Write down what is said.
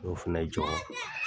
N y'o fɛnɛ jɔ.